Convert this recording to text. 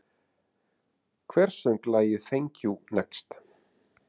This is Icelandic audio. Hver söng lagið Thank you, next?